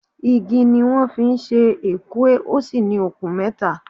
Igi ni wọ́n fi ṣe Ekwe, ó sì ní okùn mẹ́ta